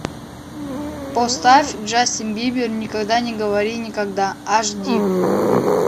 поставь джастин бибер никогда не говори никогда аш ди